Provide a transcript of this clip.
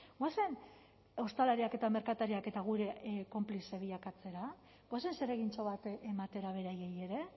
goazen ostalariak eta merkatariak eta gure konplize bilakatzera goazen zeregintxo bat ematera beraiei ere